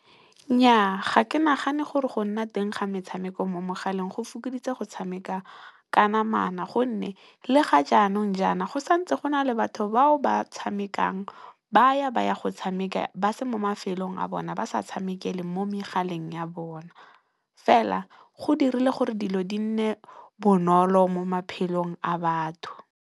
Nnyaa ga ke nagane gore go nna teng ga metshameko mo megaleng go fokoditse go tshameka ka namana. Gonne, le ga jaanong jaana, go santse gona le batho bao ba tshamekang ba ya go tshameka ba se mo mafelong a bona, ba sa tshamekele mo megaleng ya bona. Fela, go dirile gore dilo di nne bonolo mo maphelong a batho.